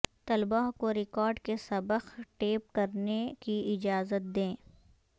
طلباء کو ریکارڈ کے سبق ٹیپ کرنے کی اجازت دیں